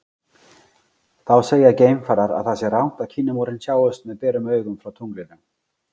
Þá segja geimfarar að það sé rangt að Kínamúrinn sjáist með berum augum frá tunglinu.